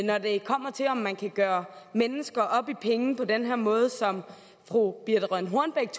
når det kommer til om man kan gøre mennesker op i penge på den måde som fru birthe rønn hornbech